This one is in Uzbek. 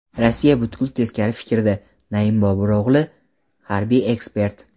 Rossiya butkul teskari fikrda”, Naim Boburo‘g‘li, harbiy ekspert.